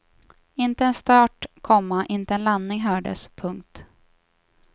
Inte en start, komma inte en landning hördes. punkt